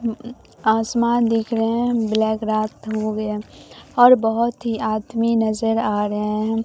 आसमान दिख रहे है ब्लैक रात हो गया और बहोत ही आदमी नजर आ रहे है।